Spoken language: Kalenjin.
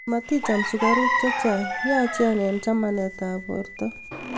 maticham sukaruk che chang', yachen eng' chamanetab borto